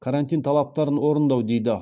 карантин талаптарын орындау дейді